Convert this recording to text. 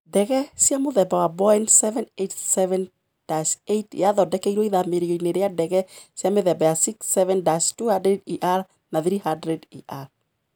Ndege cia mũthemba wa Boeing 787-8 yathondekirwo ithamĩrio-inĩ rĩa ndege cia mĩthemba ya 67-200ER na 300ER.